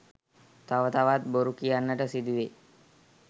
තව තවත් බොරු කියන්නට සිදුවේ.